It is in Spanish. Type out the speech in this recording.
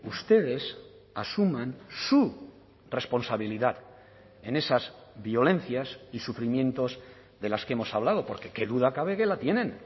ustedes asuman su responsabilidad en esas violencias y sufrimientos de las que hemos hablado porque qué duda cabe que la tienen